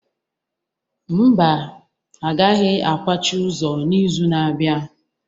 Mba, a gaghị akwachi ụzọ n'izu na-abịa